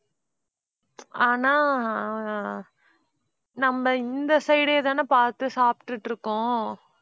ஆனா நம்ப இந்த side ஏ தானே பார்த்து சாப்பிட்டுட்டு இருக்கோம்.